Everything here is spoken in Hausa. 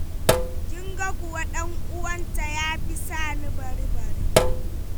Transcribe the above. Kin ga kuwa ɗan'uwanta ya fi sa ni bari bari.